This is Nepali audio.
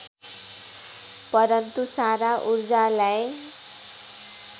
परन्तु सारा ऊर्जालाई